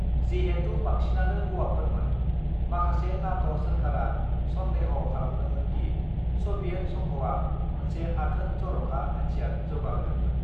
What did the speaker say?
"जिहेतु बांसिनानो हौवाफोरमोन, माखासे नाट' सोरखारआ संदेह' खालामदोंमोन दि स'भियेट संघआ मोनसे आथोन-जर'खा हाथियार जौगाहोदोंमोन।"